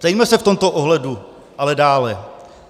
Ptejme se v tomto ohledu ale dále.